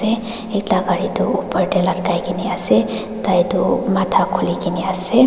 se ekta gari tu opor tae latkai kae ne ase tai tu matha khulikaena ase.